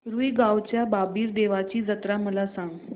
रुई गावच्या बाबीर देवाची जत्रा मला सांग